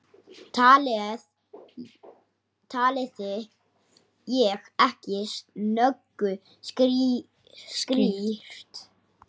Talaði ég ekki nógu skýrt?